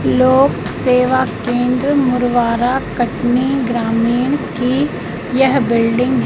लोक सेवा केंद्र मुड़वारा कटनी ग्रामीण की यह बिल्डिंग है।